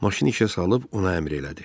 Maşını işə salıb ona əmr elədi.